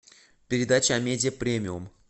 передача амедиа премиум